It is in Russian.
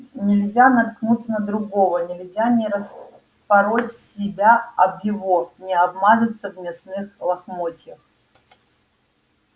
нельзя наткнуться на другого нельзя не распороть себя об его не обмазаться в мясных лохмотьях